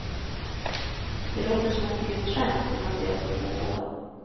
Det låter som ett grymt skämt när man ser vad som pågår.